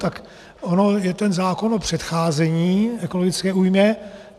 Tak on je ten zákon o předcházení ekologické újmě.